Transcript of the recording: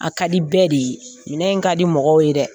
A ka di bɛɛ de ye minƐin in ka di mɔgɔw ye dɛ!